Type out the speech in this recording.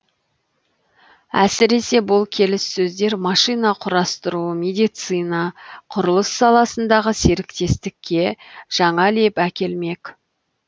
әсіресе бұл келіссөздер машина құрастыру медицина құрылыс саласындағы серіктестікке жаңа леп әкелмек